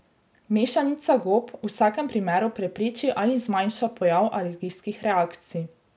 Mešanica gob v vsakem primeru prepreči ali zmanjša pojav alergijskih reakcij.